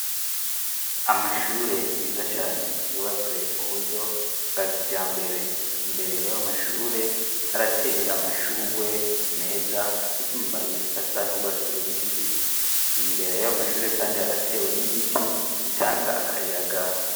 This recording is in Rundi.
Amashure meza cane yubatswe mu buryo bwa kija mbere imbere yayo mashure harateye amashurwe meza afise mu mabiyi asan'urwa surubisi imbere ya yo amashure, kandi haratewe n'ibiti bitanga akayaga.